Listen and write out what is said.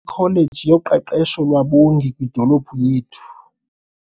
ikholeji yoqeqesho lwabongi kwidolophu yethu.